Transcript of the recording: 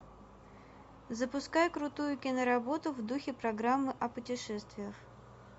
запускай крутую киноработу в духе программы о путешествиях